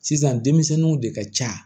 Sisan denmisɛnninw de ka ca